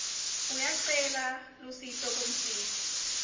uyacela lusito kumsiti